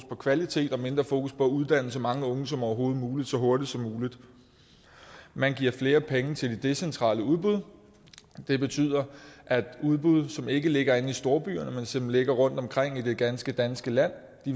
og kvalitet og mindre fokus på at uddanne så mange unge som overhovedet muligt og så hurtigt som muligt man giver flere penge til de decentrale udbud det betyder at udbud som ikke ligger inde i storbyerne men som ligger rundtomkring i det ganske danske land